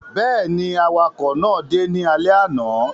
Bẹ́ẹ̀ ni, àwakọ̀ náà dé ní alẹ́ àná.